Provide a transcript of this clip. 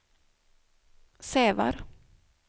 Sävar